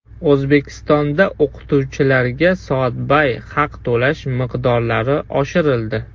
O‘zbekistonda o‘qituvchilarga soatbay haq to‘lash miqdorlari oshirildi.